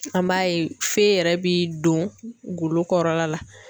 An b'a ye feye yɛrɛ bi don golo kɔrɔ la